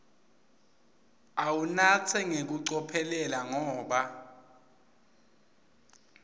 uwunatse ngekucophelela ngoba